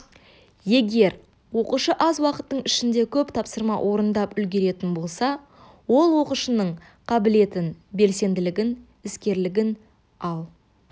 егер оқушы аз уақыттың ішінде көп тапсырма орындап үлгеретін болса ол оқушының қабілетін белсенділігін іскерлігін ал